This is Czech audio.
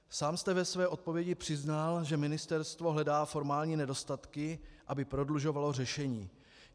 Sám jste ve své odpovědi přiznal, že ministerstvo hledá formální nedostatky, aby prodlužovalo řešení.